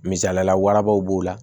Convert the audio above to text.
Misaliyala warabaw b'o la